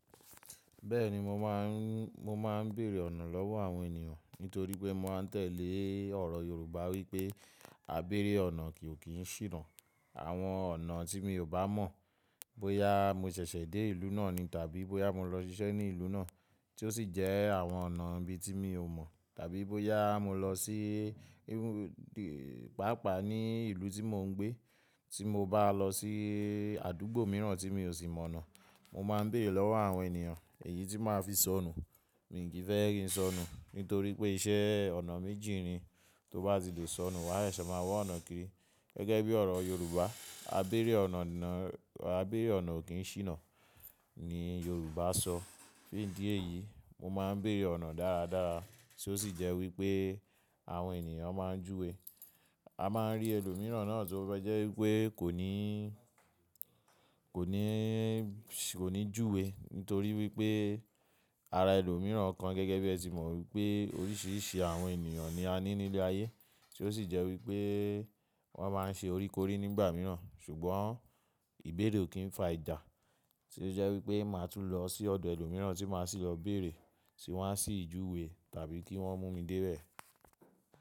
Bẹ́ẹ̀ni mo máa ń, mo máa ń bèèrè ọ̀nà lọ́wọ́ àwọn ènìyàn nítorí pé mo máa ń tẹ̀lé ọ̀rọ̀ Yorùbá wípé "ábeẹ́rẹ́ ọ̀nà ko kín sìnà". Àwọn ọ̀nà tí mi ò bá mọ̀, bóyá mo ṣẹ̀ṣẹ̀ dé ìlú náà ni tàbí bóyá mo lọ ṣiṣẹ́ ní ìlú náà tí ó sì jẹ́ àwọn ọ̀nà ibi tí mi ò mọ̀, tàbí bóyá mo lọ sí e-- pàápàá ní ìlú tí mò ń gbé, tí mo bá lọ sí àdúgbò mìíràn tí mi ò sì mọ̀ ọ̀nà, mo máa ń bèèrè lọ́wọ́ àwọn ènìyàn èyí tí màá fi sọnù. Mí kì í fẹ́ kí n sọnù nítorí pé iṣẹ́ ọ̀nà méjì ni, tó bá ti lò sọnù wá sẹsẹ̀ máa wọ ọ̀nà kíri. Gẹ́gẹ́ bí ọ̀rọ̀ Yorùbá, "ábẹ́erẹ́ ọ̀nà kì í ṣìnà" ni Yorùbá sọ. Fún ìdí èyí, mo máa ń bèèrè ọ̀nà dáradára tí ó sì jẹ́ wípé àwọn ènìyàn máa ń júwe. A máa ń rí ẹlòmíràn náà tí ó bá jẹ́ wípé kò ní, kò ní, kò ní júwe nítorí wípé ara ẹlòmíràn kan gẹ́gẹ́ bí ẹ ti mọ̀ wípé oríṣiríṣi àwọn ènìyàn ni a ní nílé ayé tí ó sì jẹ́ wípé wọ́n máa ń ṣe oríkorí nígbà mìíràn. Ṣùgbọ́n ìbẹ̀rè ò kí ń fa ìjà tí ó jẹ́ wípé màá tún lọ sí ọ̀dọ̀ ẹlòmíràn tí màá sì lọ bèèrè tí wọ́n á sì júwe tàbí kí wọ́n mú mi débẹ̀.